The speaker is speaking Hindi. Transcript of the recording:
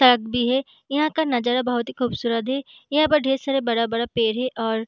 भी है यहाँ का नज़ारा बहुत ही खूबसूरत है यहाँ पर ढ़ेर सारा बड़ा- बड़ा पेड़ है और--